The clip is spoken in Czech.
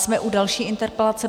Jsme u další interpelace.